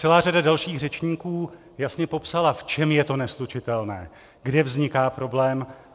Celá řada dalších řečníků jasně popsala, v čem je to neslučitelné, kde vzniká problém.